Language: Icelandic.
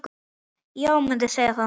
Já, mundi segja það.